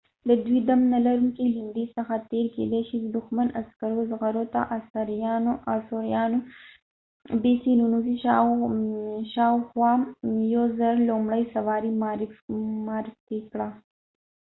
د دوی دم نلرونکي ليندي څخه تیر کیدی شي د دښمن عسکرو زغرو ته ننوځي. شاوخوا ۱۰۰۰ b.c. آثوریانو لومړۍ سواري معرفي کړه